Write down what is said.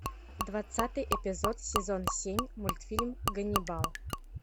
двадцатый эпизод сезон семь мультфильм ганнибал